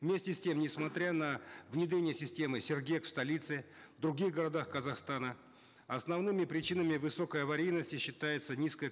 вместе с тем несмотря на внедрение системы сергек в столице других городах казахстана основными причинами высокой аварийности считаются низкая